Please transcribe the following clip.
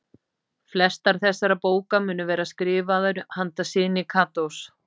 Flestar þessara bóka munu vera skrifaðar handa syni Katós.